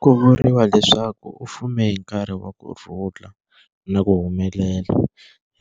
Ku vuriwa leswaku u fume hi nkarhi wa kurhula na ku humelela,